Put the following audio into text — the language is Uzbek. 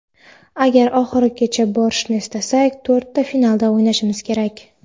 Agar oxirigacha borishni istasak, to‘rtta finalda o‘ynashimiz kerak.